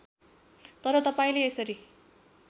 तर तपाईँले यसरी